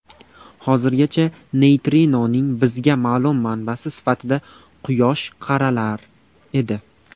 Hozirgacha neytrinoning bizga ma’lum manbasi sifatida Quyosh qaralar edi.